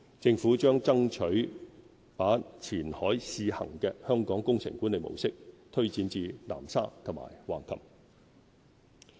政府將爭取把前海試行的香港工程管理模式推展至南沙和橫琴。